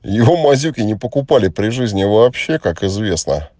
его мазюки не покупали при жизни вообще как известно